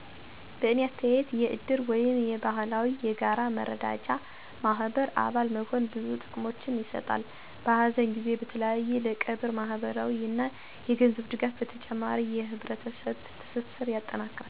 በእኔ አስተያየት የእድር ወይም የባህላዊ የጋራ መረዳጃ ማህበር አባል መሆን ብዙ ጥቅሞችን ይሰጣል። በሀዘን ጊዜ በተለይ ለቀብር ማህበራዊ እና የገንዘብ ድጋፍ በተጨማሪም የህብረተሰብን ትስስር ያጠናክራል፣ ትብብርን ያበረታታል እና በአስቸጋሪ ጊዜያት ማንም ሰው ብቸኝነት እንዳይሰማው ያደርጋል። እድርተኛው በቆሚነት ወራዊ መዋጮ ያደርጋሉ፣ እና በምላሹ፣ ሲያስፈልግ እርዳታ ያገኛሉ። በተጨማሪም እድር የባለቤትነት ስሜትን ያበረታታል እና በሰፈሮች ወይም መንደሮች ውስጥ የጋራ ሃላፊነትን፣ ባህላዊ እሴቶቻችን እና ባህላችን ይጠብቅልነል።